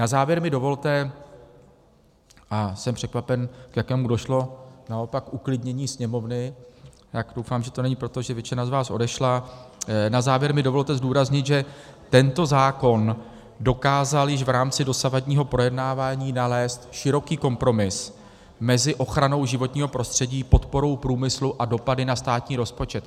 Na závěr mi dovolte - a jsem překvapen, k jakému došlo naopak uklidnění sněmovny, tak doufám, že to není proto, že většina z vás odešla - na závěr mi dovolte zdůraznit, že tento zákon dokázal již v rámci dosavadního projednávání nalézt široký kompromis mezi ochranou životního prostředí, podporou průmyslu a dopady na státní rozpočet.